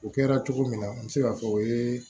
O kɛra cogo min na n bɛ se k'a fɔ o ye